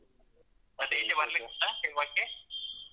ಈಚೆ ಬರಲಿಕ್ಕಿಲ್ವಾ ?